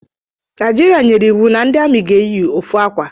Naijiria nyere iwu na ndị amị ga-eyi ofu akwa